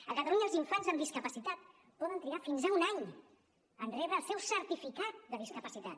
a catalunya els infants amb discapacitat poden trigar fins a un any a rebre el seu certificat de discapacitat